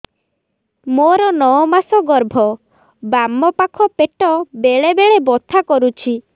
ମୋର ନଅ ମାସ ଗର୍ଭ ବାମ ପାଖ ପେଟ ବେଳେ ବେଳେ ବଥା କରୁଛି